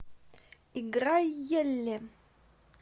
играй елле